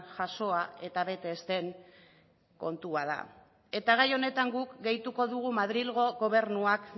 jasoa eta bete ez den kontua da gai honetan guk gehituko dugu madrilgo gobernuak